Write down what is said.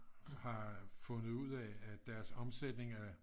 har fundet ud af at deres omsætning er